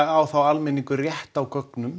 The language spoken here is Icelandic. á þá almenningur rétt á gögnum